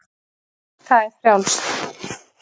Það er frjálst.